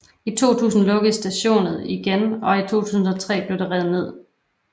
I 2000 lukkede stadionet igen og i 2003 blev det revet ned